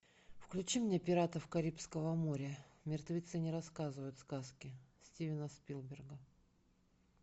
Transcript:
включи мне пиратов карибского моря мертвецы не рассказывают сказки стивена спилберга